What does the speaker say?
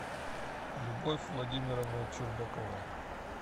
любовь владимировна чурбакова